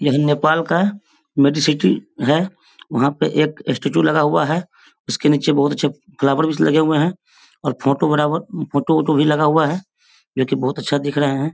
यह नेपाल का Medicity है वहाँ पे एक स्टेचू लगा हुआ है जिसके नीचे बहुत ही अच्छे फ्लावर पीस लगे हुए हैं और फोटो बराबर फोटो - वोटो भी लगा हुआ है जो की बहुत अच्छा दिख रहे हैं।